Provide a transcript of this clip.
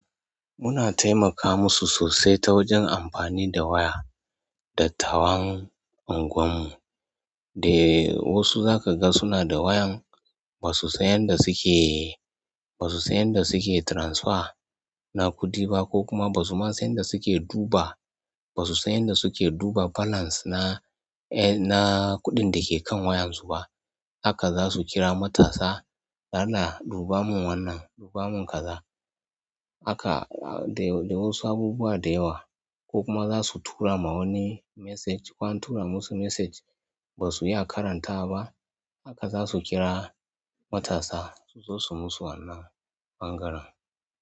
Muna taimaka musu sosai ta wajen amfani da waya, dattawan unguwan mu. Wasu zaka gani suna da wayan basu san yadda suke-- ba su san yadda suke transfer na kuɗiba ko kuma ba su ma san yadda suke duba, ba su san yadda suke duba balance na, na kuɗin da ke kan wayan su ba. Haka za su kira matasa, "Dalla duba mun wannan, duba mun kaza". Haka, da wasu abubuwa da yawa ko kuma za su tura ma wani message ko an tura musu message ba su iya karanta ba. Haka za su kira matasa su zo su musu wannan ɓangaren.